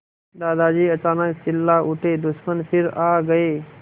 दादाजी अचानक चिल्ला उठे दुश्मन फिर आ गए